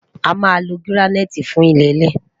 a má ló giraniti fún ilele